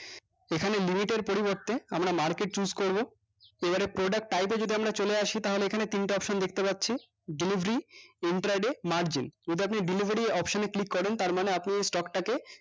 এখানে limit এর পরিবর্তে আমরা market choose করবো তো এবার product type এ আমরা যদি চলে আসি তাহলে এখানে তিনটা option দেখতে পাচ্ছি delivery entier day margin এটা দিয়ে delivery option এ ক্লিক করেন তার মানে তার মানে আপনি এই stock টা কে